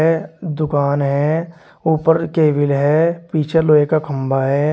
यह दुकान है ऊपर केबिल है पीछे लोहे का खंभा है।